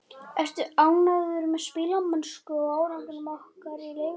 Ertu ánægður með spilamennsku og árangur ykkar í Lengjubikarnum?